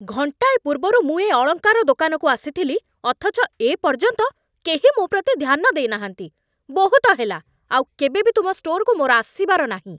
ଘଣ୍ଟାଏ ପୂର୍ବରୁ ମୁଁ ଏ ଅଳଙ୍କାର ଦୋକାନକୁ ଆସିଥିଲି, ଅଥଚ ଏ ପର୍ଯ୍ୟନ୍ତ କେହି ମୋ ପ୍ରତି ଧ୍ୟାନ ଦେଇନାହାନ୍ତି। ବହୁତ ହେଲା, ଆଉ କେବେ ବି ତୁମ ଷ୍ଟୋରକୁ ମୋର ଆସିବାର ନାହିଁ ।